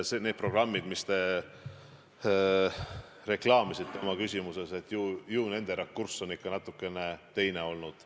Nende programmide rakurss, mida te reklaamisite oma küsimuses, on ikka natukene teine olnud.